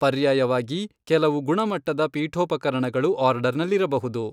ಪರ್ಯಾಯವಾಗಿ, ಕೆಲವು ಗುಣಮಟ್ಟದ ಪೀಠೋಪಕರಣಗಳು ಆರ್ಡರ್ನಲ್ಲಿರಬಹುದು.